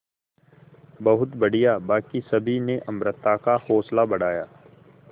बहुत बढ़िया बाकी सभी ने अमृता का हौसला बढ़ाया